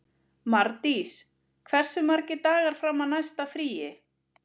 Mardís, hversu margir dagar fram að næsta fríi?